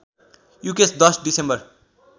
Yukesh १० December